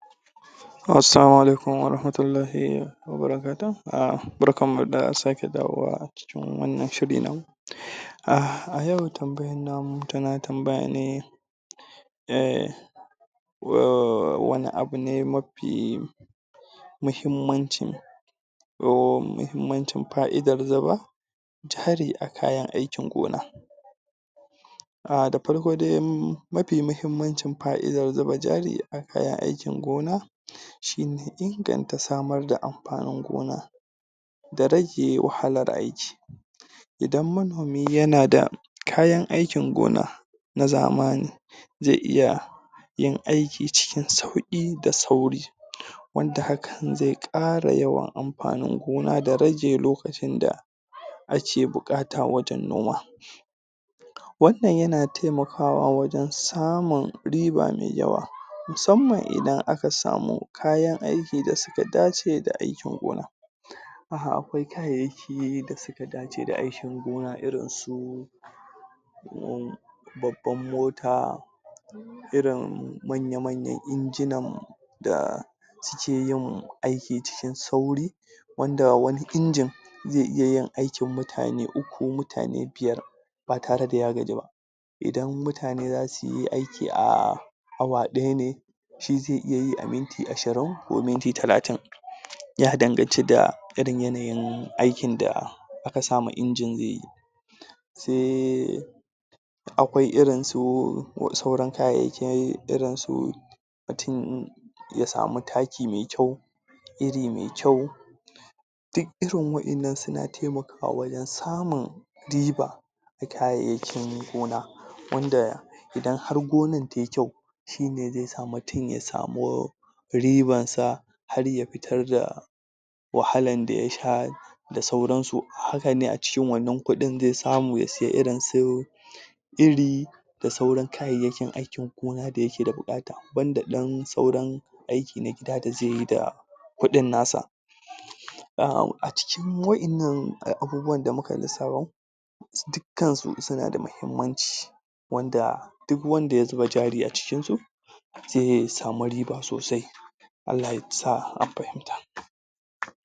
Assalamu alauikum wa rahmatullahi wa barkatuhu. Barkanmu da sake dawowa wannan shiri namu. A yau tambayan namu tana tambaya ne um wane abu ne mafi muhimmancin domin muhimmancin fa'idar gaba jari a kayan aikin gona Da farko dai mafi muhammancin fa'idar zuba jari a kayan aikin gona shi ne inganta samar da amfanin gona da rage wahalar aiki, do manomi yana da kayan aikin gona na zamani zai iya yin aikin cikin sauƙi da sauri. Wanda hakan zai ƙara yawan amfanin gona da rage lokacin da ake buƙata wajen noma. Wannan yana taimawa wajen samun riba mai yawa musamman idan aka samu kayan aikin da suka dace aikin gonar. Akwai kayayyaki da suka dace da ikin gona irin su, babbar mota manya-manyan injinan da ke yin aiki cikin sauri wanda wani injin zai iya yin aikin mutane uku mutane biyar ba tare da ya gaji ba. Idan mutane za su yi aiki a awa ɗaya ne duk zai iya yi a minti ashirin ko minti talatin. ya danganta da irin yanayin aikin da aka sa ma injin zai yi. Akwai irin su sauran kayayyaki, irin su mutum, in ya samu taki mai kyau, iri mai kyau, duk irin waɗannan suna taimakawa wajen samun riba a kayayyakin gona, wanda in har gonar ta yi kyau shi ne zai sa mutum ya samu ribarsa har ya fitar da wahalar da ya sha da sauransu. Haka ne a cikin wannan kuɗin zai samu ya sayi irin su iri, da sauran kayayyakin aikin gona da yake da buƙata. Banda ɗan sauran aiki na gida da zai yi da kuɗin nasa A cikin waɗannan abubuwan da muka lissafo, dukkansu suna da muhimmanci, wanda duk wanda zuba jari a cikinsu, zai samu riba sosai. Allah Ya sa an fahimta!